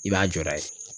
I b'a jɔda ye